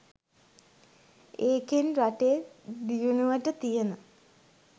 ඒකෙන් රටේ දියුණුවට තියන